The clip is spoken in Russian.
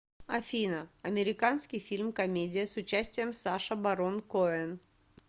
афина американский фильм комедия с участием саша барон коэн